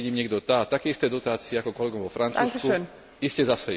A keď im niekto dá také isté dotácie ako kolegom vo Francúzsku, iste zasejú.